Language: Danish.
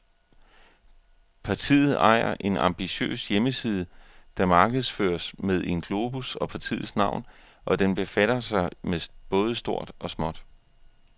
Partiet ejer en ambitiøs hjemmeside, der markedsføres med en globus og partiets navn, og den befatter sig med både stort og småt.